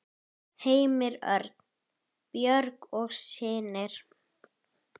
Heimir Örn, Björg og synir.